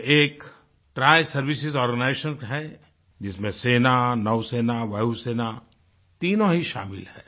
यह एक triservice organisation है जिसमें सेना नौसेना वायुसेना तीनों ही शामिल हैं